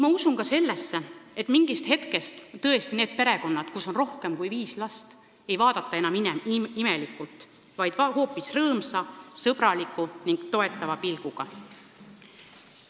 Ma usun ka sellesse, et mingist hetkest tõesti ei vaadata enam imelikult neid perekondi, kus on rohkem kui viis last, vaid vaadatakse neid hoopis rõõmsa, sõbraliku ning toetava pilguga.